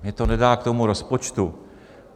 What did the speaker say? Mně to nedá k tomu rozpočtu.